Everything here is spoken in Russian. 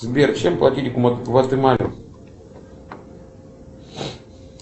сбер чем платить в гватемале